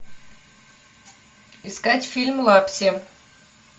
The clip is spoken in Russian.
искать фильм лапси